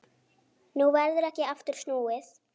Nú verður ekki aftur snúið.